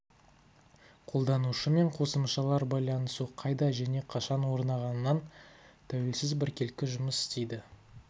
қолданушы мен қосымшалар байланысу қайда және қашан орнағанынан тәуелсіз біркелкі жұмыс істейді